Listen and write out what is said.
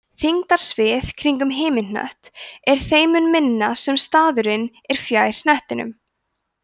þyngdarsvið kringum himinhnött er þeim mun minna sem staðurinn er fjær hnettinum